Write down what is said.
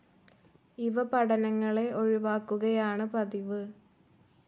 ഇവ പഠനങ്ങളെ ഒഴിവാക്കുകയാണ് പതിവ്.